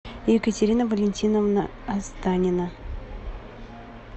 екатерина валентиновна останина